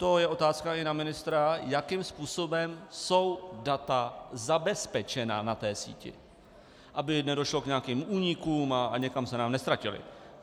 To je otázka i na ministra, jakým způsobem jsou data zabezpečena na té síti, aby nedošlo k nějakým únikům a někam se nám neztratila.